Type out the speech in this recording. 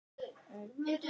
Sem kaus að þegja.